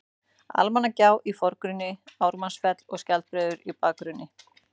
Almannagjá í forgrunni, Ármannsfell og Skjaldbreiður í bakgrunni.